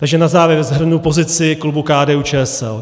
Takže na závěr shrnu pozici klubu KDU-ČSL.